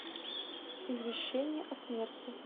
извещение о смерти